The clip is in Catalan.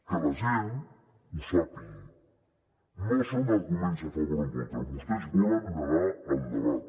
que la gent ho sàpiga no són arguments a favor o en contra vostès volen negar el debat